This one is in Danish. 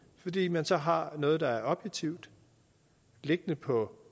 fordi man så har noget der er objektivt liggende på